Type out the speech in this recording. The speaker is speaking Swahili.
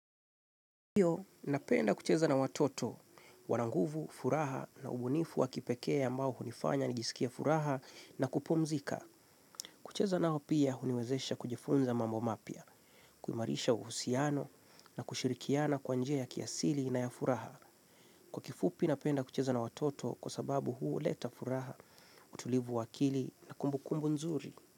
Napenda kucheza na watoto, wana nguvu, furaha na ubunifu wa kipekee ambao hunifanya nijisikie furaha na kupumzika. Kucheza nao pia, huniwezesha kujifunza mambo mapya, kuimarisha uhusiano na kushirikiana kwa njia ya kiasili na ya furaha. Kwa kifupi, napenda kucheza na watoto kwa sababu huleta furaha, utulivu wa akili na kumbukumbu nzuri.